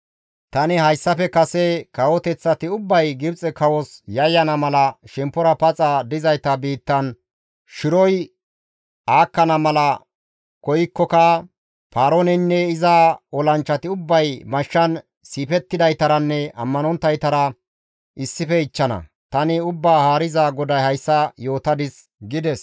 Tani hayssafe kase kawoteththati ubbay Gibxe kawos yayyana mala shemppora paxa dizayta biittan shiroy aakkana mala koykkoka Paarooneynne iza olanchchati ubbay mashshan siifettidaytaranne ammanonttaytara issife ichchana; tani Ubbaa Haariza GODAY hayssa yootadis» gides.